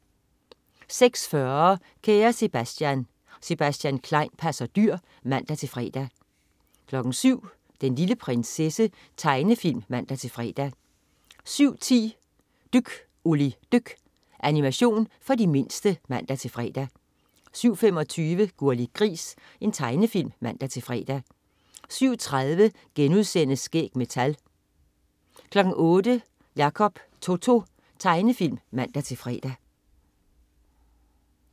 06.40 Kære Sebastian. Sebastian Klein passer dyr (man-fre) 07.00 Den lille prinsesse. Tegnefilm (man-fre) 07.10 Dyk Olli dyk. Animation for de mindste (man-fre) 07.25 Gurli Gris. Tegnefilm (man-fre) 07.30 Skæg med tal* 08.00 Jacob To-To. Tegnefilm (man-fre)